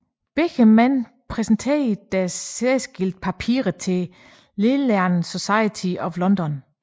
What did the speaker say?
Begge mænd præsenterede deres særskilte papirer til Linnean Society of London